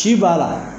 Ci b'a la